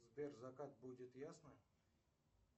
сбер закат будет ясным